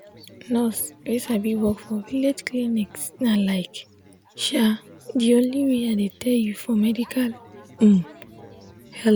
nurse wey sabi work for village clinics na like um de only way i dey tell you for medical um help.